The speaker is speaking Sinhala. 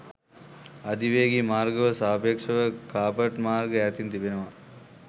අධිවේගී මාර්ගවලට සාපේක්ෂව කාපට් මාර්ග ඈතින් තිබෙනවා